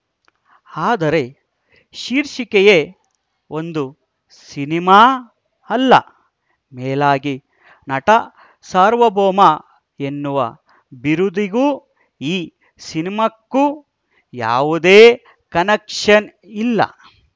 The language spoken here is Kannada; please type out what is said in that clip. ಆದರೆ ಶೀರ್ಷಿಕೆಯೇ ಒಂದು ಸಿನಿಮಾ ಅಲ್ಲ ಮೇಲಾಗಿ ನಟಸಾರ್ವಭೌಮ ಎನ್ನುವ ಬಿರುದಿಗೂ ಈ ಸಿನಿಮಾಕ್ಕೂ ಯಾವುದೇ ಕನೆಕ್ಷನ್‌ ಇಲ್ಲ